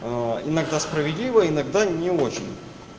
иногда справедливо иногда не очень